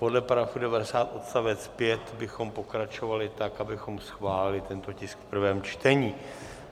Podle § 90 odstavec 5 bychom pokračovali tak, abychom schválili tento tisk v prvém čtení.